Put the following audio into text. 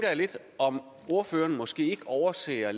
jeg lidt om ordføreren måske ikke overser